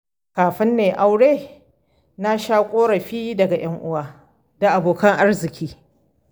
Kafin na yi aure, na sha ƙorafi daga 'yan uwa da abokan arziki.